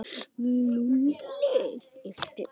Lúlli yppti öxlum.